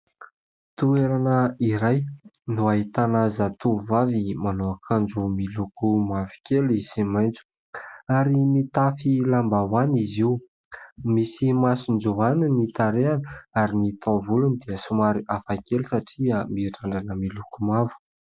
Toerana iray no ahitana zatovovavy manao akanjo miloko mavokely sy maitso, ary mitafy lambahoany izy io ; misy masonjoany ny tarehiny, ary ny taovolony dia somary hafakely satria mirandrana miloko mavo.